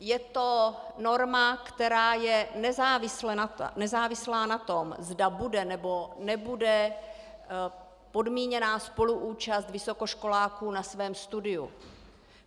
Je to norma, která je nezávislá na tom, zda bude, nebo nebude podmíněná spoluúčast vysokoškoláků na svém studiu.